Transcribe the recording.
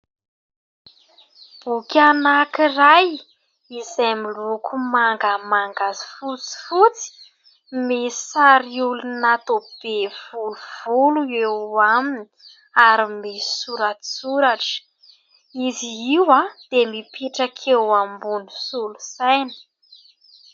Boky anankiray izay miloko mangamanga sy fotsifotsy misy sary olona toa be volovolo eo aminy ary misy soratsoratra. Izy io dia mipetraka eo ambon'ny solosaina.